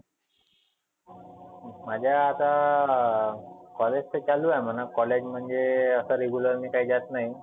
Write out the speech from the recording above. माझा आता अं college तर चालू आहे म्हणा. college म्हणजे आता regular मी काही जात नाही.